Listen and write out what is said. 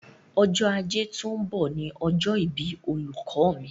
Ọjọ́ Ajé tó ń bọ̀ ni ọjọ́ ìbí olùkọ́ mi.